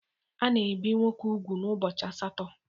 A na-ebì nwoke úgwù n'ubọchi asatọ.